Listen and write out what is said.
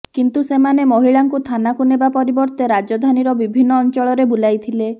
କିନ୍ତୁ ସେମାନେ ମହିଳାଙ୍କୁ ଥାନାକୁ ନେବା ପରିବର୍ତ୍ତେ ରାଜଧାନୀର ବିଭିନ୍ନ ଅଞ୍ଚଳରେ ବୁଲାଇଥିଲେ